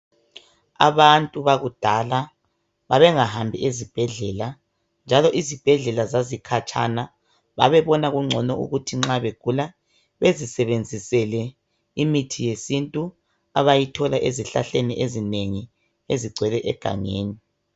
Abantu bakudala babengahambi ezibhedlela njalo izibhedlela zazikhatshana babebona kungcono ukuthi nxa begula bezisebenzisele imithi yesintu abayithola ezihlahleni ezinengi abayithola egangeni